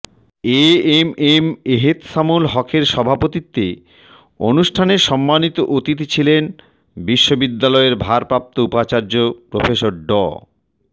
এ M M Ehteshamul হকের সভাপতিত্বে অনুষ্ঠানে সম্মানিত অতিথি ছিলেন বিশ্ববিদ্যালয়ের ভারপ্রাপ্ত উপাচার্য প্রফেসর ড